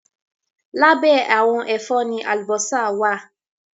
Lábẹ́ àwọn ẹ̀fọ́ ni àlùbọ́sà wá à.